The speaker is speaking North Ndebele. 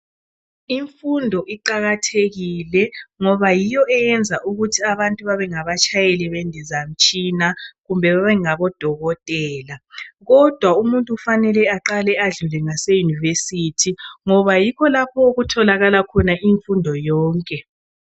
Imfundo iqakathekile ngoba yiyo eyenza ukuthi abantu babengaba tshayeli bendizamtshina kumbe odokotela kodwa umuntu kumele aqale adlule e University ngoba yikho lapho okutholakala imfundo yonke